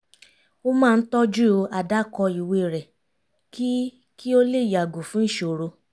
ó máa ń tọ́jú àdákọ ìwé rẹ̀ kí kí o lè yàgò fún ìṣòro